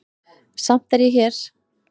Samt er ég hér.